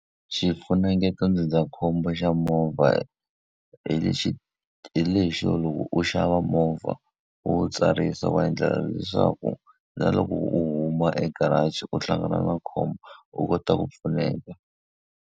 Xifunengeto ndzindzakhombo xa movha hi lexi hi lexo loko u xava movha, u wu tsarisa u endlela leswaku na loko u huma egaraji u hlangana na khombo, u kota ku pfuneka.